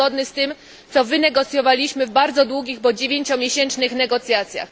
Jest zgodny z tym, co wynegocjowaliśmy w bardzo długich, bo dziewięciomiesięcznych, negocjacjach.